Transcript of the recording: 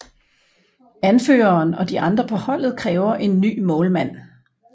Anføreren og de andre på holdet kræver en ny målmand